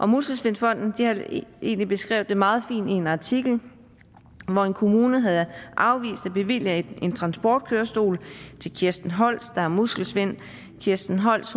muskelsvindfonden har egentlig beskrevet det meget fint i en artikel hvor en kommune havde afvist at bevilge en transportkørestol til kirsten holst der har muskelsvind kirsten holst